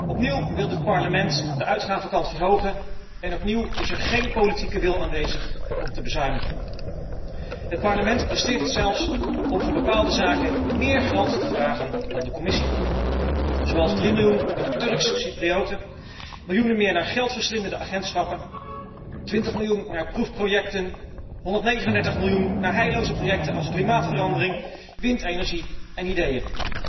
Opnieuw wil dit Parlement de uitgavenkant verhogen en opnieuw is er geen politieke wil aanwezig om te bezuinigen. Het Parlement presteert het zelfs om voor bepaalde zaken meer geld te vragen dan de Commissie, zoals 3 miljoen voor de Turks Cyprioten, miljoenen meer voor geldverslindende agentschappen, 20 miljoen voor proefprojecten, 139 miljoen voor heilloze projecten als klimaatverandering, windenergie en ideeën,